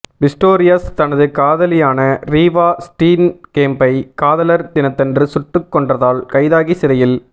Pistorius தனது காதலியான Reeva ஸ்டீன்கேம்ப்பை காதலர் தினத்தன்று சுட்டுக் கொன்றதால் கைதாகி சிறையில்